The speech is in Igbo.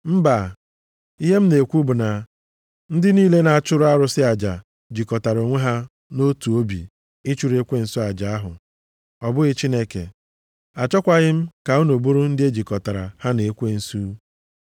Mba! Ihe m na-ekwu bụ na ndị niile na-achụrụ arụsị aja jikọtara onwe ha nʼotu obi ịchụrụ ekwensu aja ahụ. Ọ bụghị Chineke. Achọkwaghị m ka unu bụrụ ndị e jikọtara ha na ekwensu. + 10:20 Maọbụ, mmụọ ọjọọ